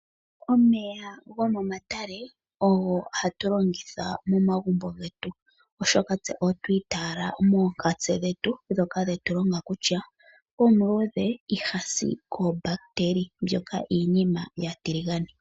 Omeya gomomatale ogo hatu longitha momagumbo getu oshoka tse otwa itaala moonkatse dhetu dhoka dhetulonga kutya omuluudhe ihasi koombahiteli, mbyoka iinima yaatiligane.